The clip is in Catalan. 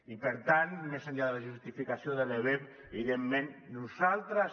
i per tant més enllà de la justificació de l’ebep evidentment nosaltres